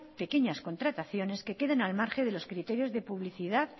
pequeñas contrataciones que quedan al margen de los criterios de publicidad